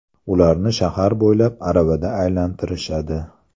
Ularni shahar bo‘ylab aravada aylantirishadi.